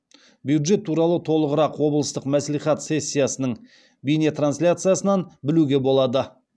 бюджет туралы толығырақ облыстық мәслихат сессиясының бейнетрансляциясынан білуге болады